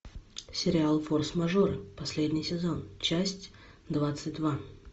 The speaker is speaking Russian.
сериал форс мажор последний сезон часть двадцать два